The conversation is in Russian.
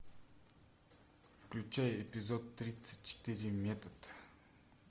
включай эпизод тридцать четыре метод